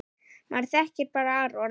Maður þekkir bara Aron.